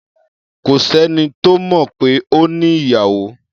Kò sẹ́ni tó mọ̀ pé ó ní ìyàwó o.